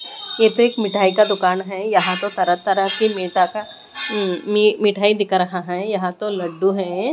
ये तो एक मिठाई का दुकान है यहां तो तरह-तरह की मिटा का म्म मिठाई दिखा रहा है यहां तो लड्डू है।